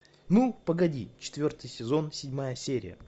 ну погоди четвертый сезон седьмая серия